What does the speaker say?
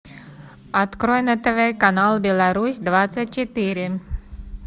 открой на тв канал беларусь двадцать четыре